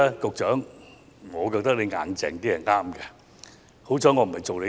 局長，我覺得你強硬起來是對的。